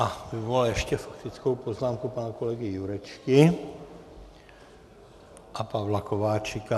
A vyvolal ještě faktickou poznámku pana kolegy Jurečky a Pavla Kováčika.